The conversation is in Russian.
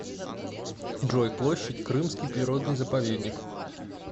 джой площадь крымский природный заповедник